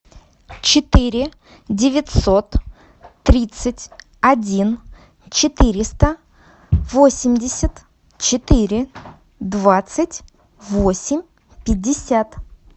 четыре девятьсот тридцать один четыреста восемьдесят четыре двадцать восемь пятьдесят